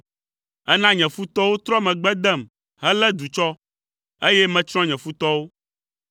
Èna nye futɔwo trɔ megbe dem helé du tsɔ, eye metsrɔ̃ nye futɔwo.